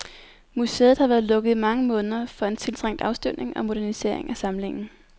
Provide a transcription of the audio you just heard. Museet har været lukket i mange måneder for en tiltrængt afstøvning og modernisering af samlingen.